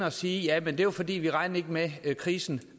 at sige jamen det var fordi vi ikke regnede med at krisen